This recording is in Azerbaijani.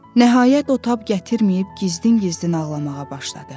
Nəhayət o tab gətirməyib gizlin-gizlin ağlamağa başladı.